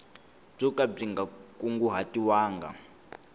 byo ka byi nga kunguhatiwanga